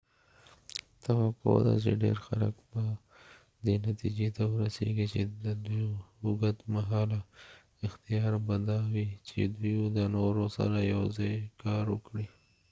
توقع ده چی ډیر خلک به دی نتیجی ته ورسیږی چی ددوی اوږد مهاله اختیار به دا وی چی دوۍ د نورو سره یو ځای کار وکړي